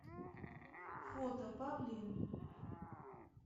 фото павлин